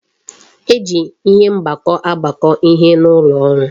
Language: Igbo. E ji ihe mgbakọ agbakọ ihe n'ụlọ ọrụ